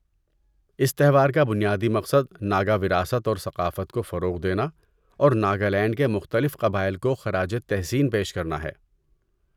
اس تہوار کا بنیادی مقصد ناگا وراثت اور ثقافت کو فروغ دینا اور ناگالینڈ کے مختلف قبائل کو خراج تحسین پیش کرنا ہے۔